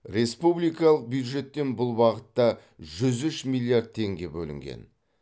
республикалық бюджеттен бұл бағытта жүз үш миллиард теңге бөлінген